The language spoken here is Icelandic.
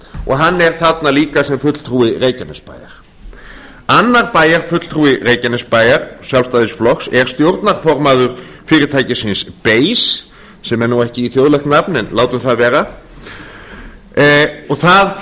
og hann er þarna líka sem fulltrúi reykjanesbæjar annar bæjarfulltrúi reykjanesbæjar sjálfstæðisflokks er stjórnarformaður fyrirtækisins ber sem er ekki þjóðlegt nafn en látum það vera og það